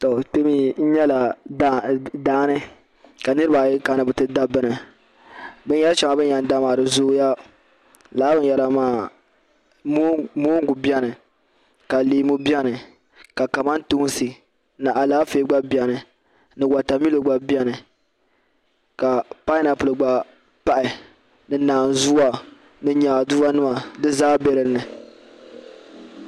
Daani ka niraba ayi kana ni bi ti da bini binyɛri shɛŋa bin yɛn da maa di zooya moongu biɛni ka leemu biɛni ka kamantoosi ni Alaafee gba biɛni ka watamilo gba biɛni ka painapuli gba pahi ni naanzuwa ni nyaaduwa nima di zaa nyɛla din biɛni